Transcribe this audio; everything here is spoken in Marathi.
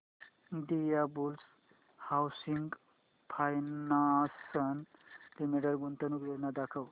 इंडियाबुल्स हाऊसिंग फायनान्स लिमिटेड गुंतवणूक योजना दाखव